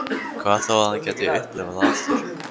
Hvað þá að hann gæti upplifað það aftur.